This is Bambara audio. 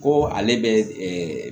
Ko ale bɛ